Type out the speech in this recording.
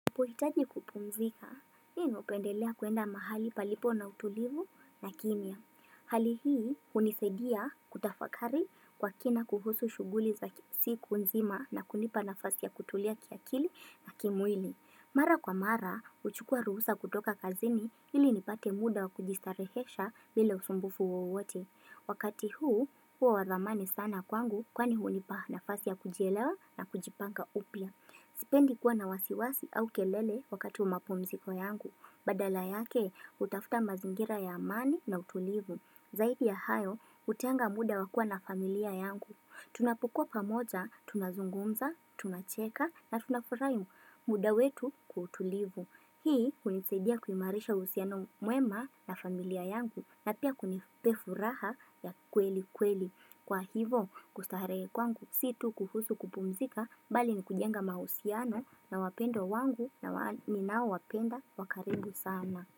Huhitaji kupumzika, mimi hupendelea kuenda mahali palipo na utulivu na kimia. Hali hii, hunisaidia kutafakari kwa kina kuhusu shughuli za siku nzima na kunipa nafasi ya kutulia kiakili na kimwili. Mara kwa mara, huchukua ruhusa kutoka kazini ili nipate muda kujistarehesha bila usumbufu wowote. Wakati huu, huwa wadhamani sana kwangu kwani hunipa nafasi ya kujielewa na kujipanga upia. Sipendi kuwa na wasiwasi au kelele wakati wa mapumziko yangu. Badala yake, hutafuta mazingira ya amani na utulivu. Zaidi ya hayo, hutenga muda wakua na familia yangu. Tunapokuwa pamoja, tunazungumza, tunacheka na tunafurahi muda wetu kwa utulivu. Hii hunisidia kuimarisha uhusiano mwema na familia yangu na pia kunipa furaha ya kweli kweli. Kwa hivyo kustarehe kwangu si tu kuhusu kupumzika bali ni kujenga mahusiano na wapendwa wangu ninao wapenda wakaribu sana.